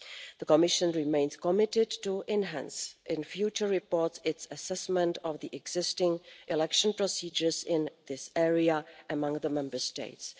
The Commission remains committed to enhancing in future reports its assessment of existing election procedures in this area among the Member States.